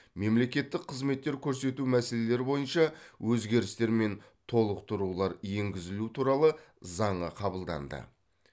мемлекеттік қызметтер көрсету мәселелері бойынша өзгерістер мен толықтырулар енгізілу туралы заңы қабылданды